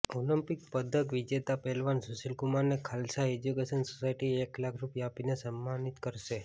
Olympic પદક વિજેતા પહેલવાન સુશીલ કુમારને ખાલસા એજ્યુકેશન સોસાયટી એક લાખ રૂપિયા આપીને સમ્માનિત કરશે